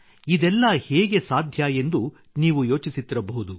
ಇದೆಲ್ಲ ಹೇಗೆ ಸಾಧ್ಯ ಎಂದು ನೀವು ಯೋಚಿಸುತ್ತಿರಬಹುದು